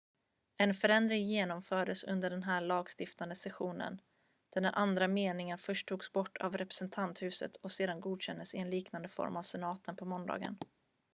en förändring genomfördes under den här lagstiftande sessionen där den andra meningen först togs bort av representanthuset och sedan godkändes i en liknande form av senaten på måndagen